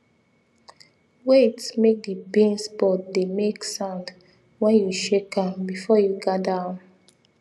wait make the beans pod dey make sound when you shake am before you gather am